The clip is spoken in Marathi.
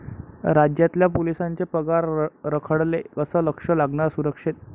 राज्यातल्या पोलिसांचे पगार रखडले, कसं लक्ष लागणार सुरक्षेत?